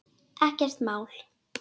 Ekkert mál.